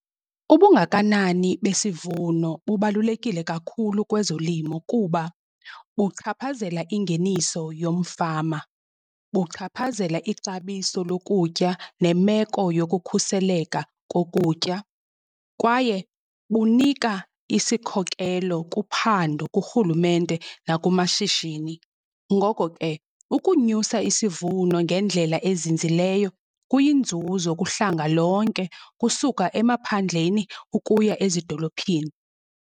Ubungakanani besivuno bubalulekile kakhulu kwezolimo kuba buchaphazela ingeniso yomfama, buchaphazela ixabiso lokutya nemeko yokukhuseleka kokutya. Kwaye bunika isikhokelo kuphando kurhulumente nakumashishini. Ngoko ke, ukunyusa isivuno ngendlela ezinzileyo kuyinzuzo kuhlanga lonke kusuka emaphandleni ukuya ezidolophini.